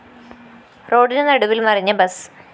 റോഡിനു നടുവില്‍ മറിഞ്ഞ ബസ്